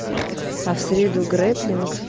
а в среду греблинг